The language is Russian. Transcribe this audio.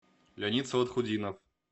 леонид салахутдинов